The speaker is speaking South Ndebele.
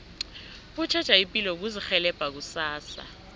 ukutjheja ipilo kuzirhelebha kusasa